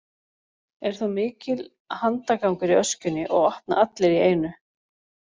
Er þá mikill handagangur í öskjunni og opna allir í einu.